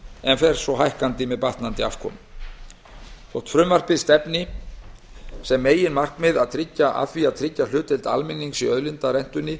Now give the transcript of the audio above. en fer svo hækkandi með bættri afkomu þótt meginmarkmið frumvarpsins sé að tryggja hlutdeild almennings í auðlindarentunni